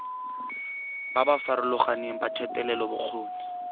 ba ba farologaneng ba thetelelobokgoni